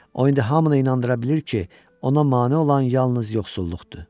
O indi hamını inandıra bilir ki, ona mane olan yalnız yoxsulluqdur.